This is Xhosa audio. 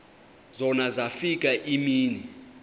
zona zafika iimini